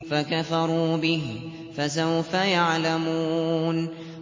فَكَفَرُوا بِهِ ۖ فَسَوْفَ يَعْلَمُونَ